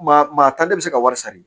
Maa maa ta ne bɛ se ka wari sara de